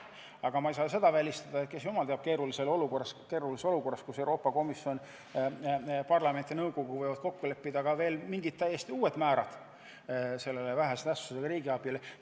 Aga ma ei saa välistada seda, et jumal teab mis keerulises olukorras võivad Euroopa Komisjon, parlament ja nõukogu kokku leppida ka veel mingisugused täiesti uued vähese tähtsusega riigiabi määrad.